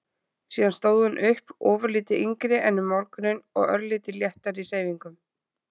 Síðan stóð hún upp, ofurlítið yngri en um morguninn og örlítið léttari í hreyfingum.